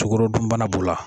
Tokoro dunbana b'o la